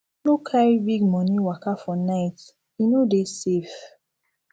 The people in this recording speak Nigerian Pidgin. no carry big money waka for night e no dey safe